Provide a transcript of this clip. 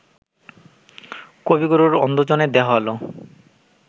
কবিগুরুর অন্ধজনে দেহ আলো